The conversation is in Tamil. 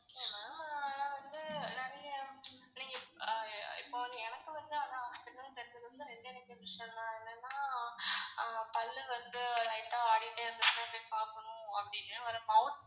Okay ma'am ஆனா வந்து நிறைய நீங்க இப்போ எனக்கு வந்து hospital னு தெரிஞ்சது வந்து ரெண்டே ரெண்டு விஷயம் தான் என்னனா பல்லு வந்து lite ஆ ஆடிட்டே இருந்துச்சுனா போய் பாகனும் அப்டினு ஒரு mouth